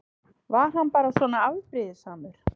Var hann bara svona afbrýðisamur?